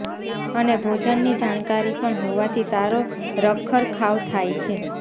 અને ભોજનની જાણકારી પણ હોવાથી સારો રખરખાવ થાય છે